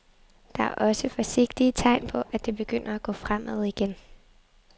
Der er også forsigtige tegn på, at det begynder at gå fremad igen.